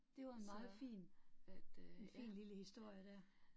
Det var en meget fin, en fin lille historie der